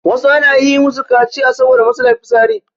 wasu ana yi musu kaciya saboda matsalar fitsarin